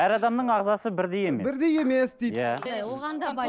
әр адамның ағзасы бірдей емес бірдей емес дейді иә